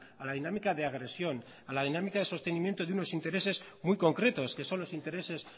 a la dinámica de agresión a la dinámica de sostenimiento de unos intereses muy concretos que son los intereses